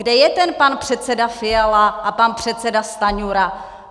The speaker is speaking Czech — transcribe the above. Kde je ten pan předseda Fiala a pan předseda Stanjura?